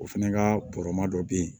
O fɛnɛ ka bɔrɔma dɔ bɛ yen